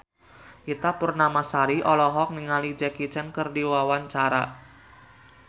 Ita Purnamasari olohok ningali Jackie Chan keur diwawancara